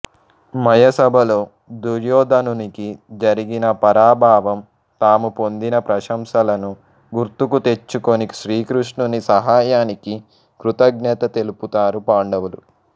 మయ సభలో దుర్యోధనునికి జరిగిన పరాభవం తాము పొందిన ప్రశంసలను గుర్తుకు తెచ్చుకొని శ్రీకృష్ణుని సహాయానికి కృతజ్ఞత తెలుపుతారు పాండవులు